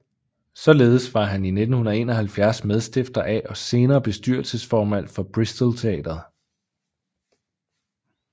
Således var han i 1971 medstifter af og senere bestyrelsesformand for Bristol Teatret